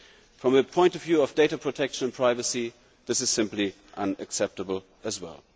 From the point of view of data protection privacy, this is simply unacceptable as well.